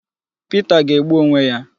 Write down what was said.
Pita ga-egbu onwe ya